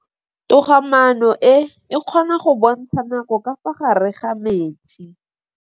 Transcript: Toga-maanô e, e kgona go bontsha nakô ka fa gare ga metsi.